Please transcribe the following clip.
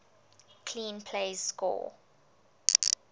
clean plays score